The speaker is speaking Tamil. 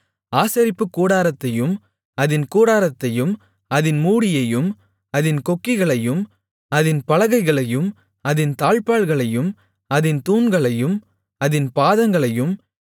ஆசரிப்புக்கூடாரத்தையும் அதின் கூடாரத்தையும் அதின் மூடியையும் அதின் கொக்கிகளையும் அதின் பலகைகளையும் அதின் தாழ்ப்பாள்களையும் அதின் தூண்களையும் அதின் பாதங்களையும்